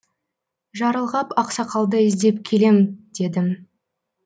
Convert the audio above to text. жарылғап ақсақалды іздеп келем дедім